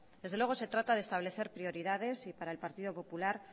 desde luego se trata de establecer prioridades y para el partido popular